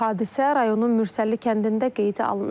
Hadisə rayonun Mürsəlli kəndində qeydə alınıb.